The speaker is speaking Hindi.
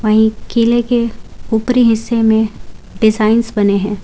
वही किले के ऊपरी हिस्से में डिजाइंस बने हैं।